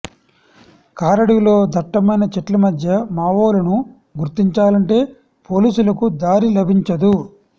కారడవిలో దట్టమైన చెట్ల మధ్య మావోలను గుర్తించాలంటే పోలీసులకు దారి లభించదు